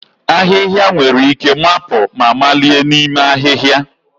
Ahịhịa nwere ike mapụ ma malie n'ime ahịhịa